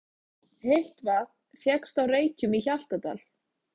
Heitt vatn fékkst á Reykjum í Hjaltadal.